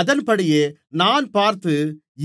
அதன்படியே நான் பார்த்து